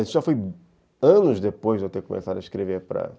Isso já foi anos depois de eu ter começado a escrever para